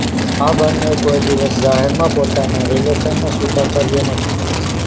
આ બંન્નેએ કોઇ દિવસ જાહેરમાં પોતાના રિલેશનનો સ્વીકાર કર્યો નથી